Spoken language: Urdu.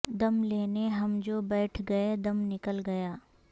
دم لینے ہم جو بیٹھ گئے دم نکل گیا